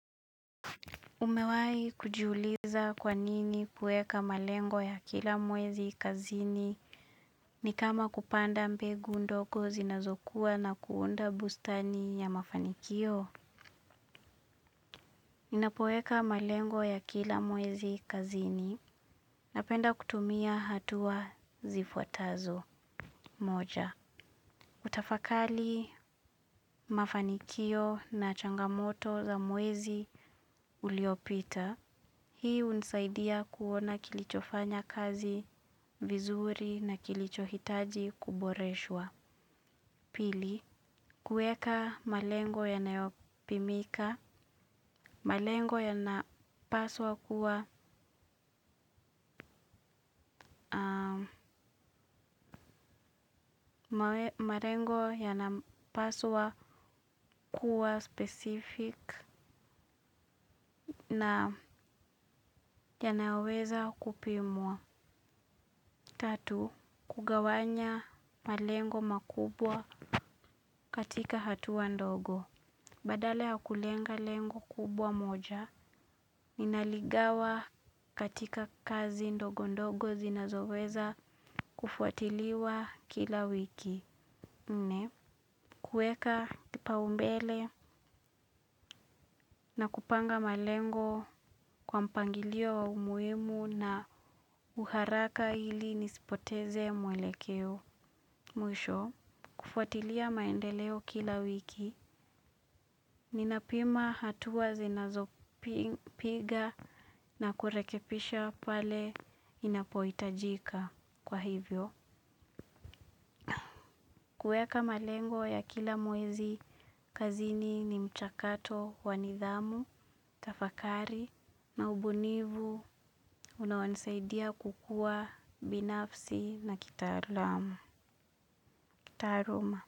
Umewai kujuliza kwa nini kueka malengo ya kila mwezi kazini ni kama kupanda mbegu ndogo zinazokuwa na kuunda bustani ya mafanikio. Ninapoeka malengo ya kila mwezi kazini na penda kutumia hatua zifuatazo moja. Utafakali, mafanikio na changamoto za mwezi uliopita. Hii unisaidia kuona kilichofanya kazi vizuri na kilichohitaji kuboreshwa. Pili, kueka malengo yanayopimika. Malengo yanapaswa kuwa specific na yanayoweza kupimwa. Tatu, kugawanya malengo makubwa katika hatua ndogo. Badala ya kulenga lengo kubwa moja, ninaligawa katika kazi ndogo ndogo zinazoweza kufuatiliwa kila wiki. Nne, kuweka kipa umbele na kupanga malengo kwa mpangilio umuhimu na uharaka hili nispoteze mwelekeo. Kufuatilia maendeleo kila wiki ninapima hatua zinazopiga na kuekepisha pale inapohitajika kwa hivyo. Kuweka malengo ya kila mwezi, kazini ni mchakato wa nidhamu, tafakari na ubunifu na wansaidia kukua binafsi na kitaaluma.